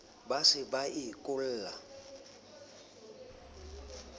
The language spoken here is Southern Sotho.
ba se ba e kolla